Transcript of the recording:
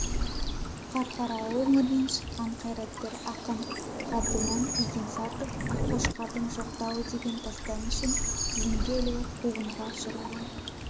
қарқаралы өңірінен шыққан қайраткер ақын ғабдіман игенсартов аққошқардың жоқтауы деген дастаны үшін тізімге ілігіп қуғынға ұшыраған